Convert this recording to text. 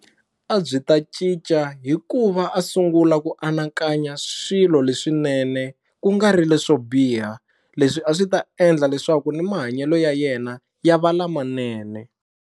A byi ta cinca hikuva a sungula ku anakanya swilo leswinene ku nga ri leswo biha leswi a swi ta endla leswaku ni mahanyelo ya yena ya va lamanene.